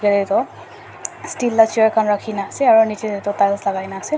a toh steel la chair khan rakhi ne ase aru niche te toh tiles lagai ne ase.